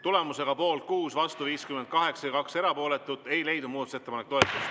Tulemusega poolt 6, vastu 58 ja erapooletuid 2, ei leidnud muudatusettepanek toetust.